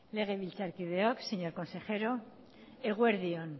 legebiltzarkideok señor consejero eguerdion